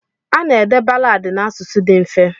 Ana-ede balaadị n'asụsụ dị mfe.